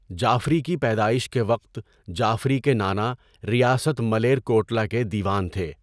جعفری کی پیدائش کے وقت جعفری کے نانا ریاست ملیرکوٹلا کے دیوان تھے۔